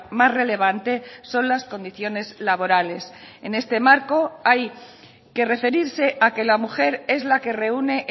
más relevante son las condiciones laborales en este marco hay que referirse a que la mujer es la que reúne